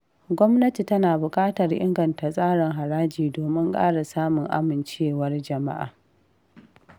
Gwamnati tana bukatar inganta tsarin haraji domin ƙara samun amincewar jama’a.